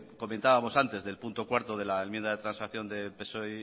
comentábamos antes del punto cuarto de la enmienda de transacción de psoe